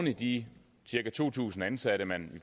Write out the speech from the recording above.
i de cirka to tusind ansatte man